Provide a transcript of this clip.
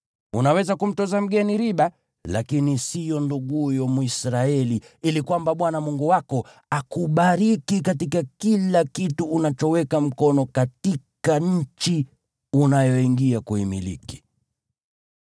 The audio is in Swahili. Unaweza kumtoza mgeni riba, lakini siyo nduguyo Mwisraeli, ili kwamba Bwana Mungu wako akubariki katika kila kitu unachoweka mkono katika nchi unayoingia kuimiliki.